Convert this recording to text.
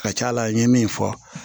Ka ca ala n ye min fɔ